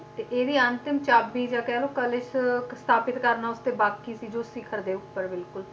ਤੇ ਇਹਦੀ ਅੰਤਿਮ ਚਾਬੀ ਜਾਂ ਕਹਿ ਲਓ ਕਲਸ਼ ਸਥਾਪਿਤ ਕਰਨਾ ਉੱਤੇ ਬਾਕੀ ਸੀ ਜੋ ਸਿਖ਼ਰ ਦੇ ਉੱਪਰ ਬਿਲਕੁਲ